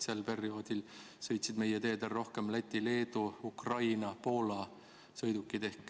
Sel perioodil sõitsid meie teedel rohkem Läti, Leedu, Ukraina ja Poola sõidukid.